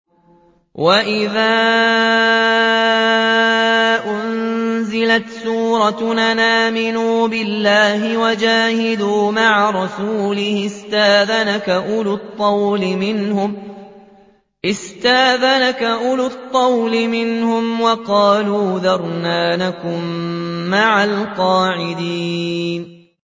وَإِذَا أُنزِلَتْ سُورَةٌ أَنْ آمِنُوا بِاللَّهِ وَجَاهِدُوا مَعَ رَسُولِهِ اسْتَأْذَنَكَ أُولُو الطَّوْلِ مِنْهُمْ وَقَالُوا ذَرْنَا نَكُن مَّعَ الْقَاعِدِينَ